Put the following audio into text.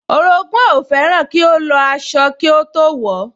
Orogún ẹ̀ fẹ́ràn kí ó lọ aṣọ kí ó tó wọ̀ ọ́